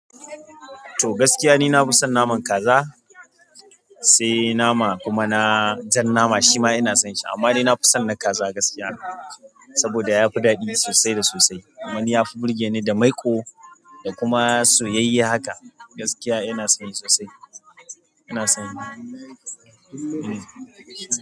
To gaskiya ni nafison naman kaza, sai nama kuma na jan nama shima inasonshi amma ni nafison na kaza gaskiya saboda yafi daɗi sosai da sosai. Wani yafi burgeni da maiƙo dakuma soyayayye haka gaskiya inasonshi sosai inason yi.